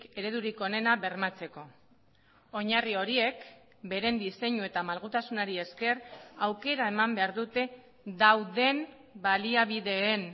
eredurik onena bermatzeko oinarri horiek beren diseinu eta malgutasunari esker aukera eman behar dute dauden baliabideen